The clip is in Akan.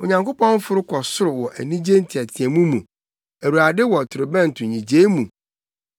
Onyankopɔn aforo kɔ soro wɔ anigye nteɛteɛmu mu, Awurade wɔ torobɛnto nnyigyei mu.